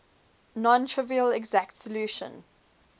non trivial exact solution